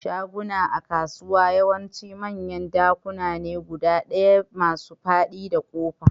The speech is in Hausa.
Shaguna a kasuwa yawanci manyan dakuna ne guda ɗaya masu fadi da kofa.